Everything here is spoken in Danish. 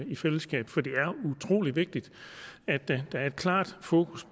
i fællesskab for det er utrolig vigtigt at der er et klart fokus